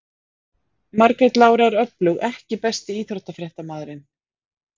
Margrét Lára er öflug EKKI besti íþróttafréttamaðurinn?